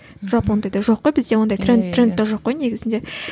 жалпы ондайда жоқ қой бізде ондай тренд трендте жоқ қой негізінде